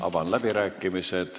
Avan läbirääkimised.